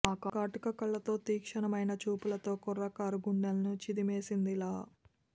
ఆ కాటుక కళ్లతో తీక్షణమైన చూపులతో కుర్రకారు గుండెల్ని చిదిమేసిందిలా